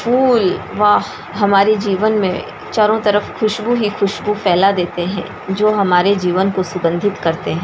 फूल वाह हमारे जीवन में चारो तरफ खुशबु ही खुशबु फैला देते हैं जो हमारे जीवन को सुगंधित करते हैं।